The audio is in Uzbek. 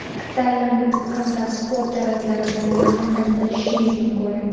taʼlim hamda sport jarayonlari bilan yaqindan tanishishingiz mumkin.